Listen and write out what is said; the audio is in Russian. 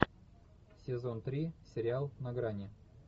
сезон три сериал на грани